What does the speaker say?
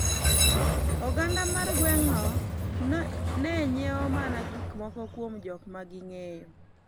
oganda mar gweng' no ne nyiewo mana gikmoko kuom jokma ging'eyo